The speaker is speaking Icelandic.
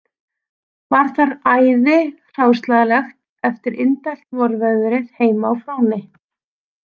Var þar æði hráslagalegt eftir indælt vorveðrið heima á Fróni